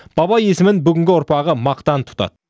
баба есімін бүгінгі ұрпағы мақтан тұтады